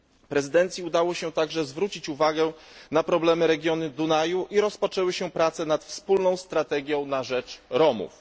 Prezydencji udało się także zwrócić uwagę na problemy regionu Dunaju i rozpoczęły się prace nad wspólną strategią na rzecz Romów.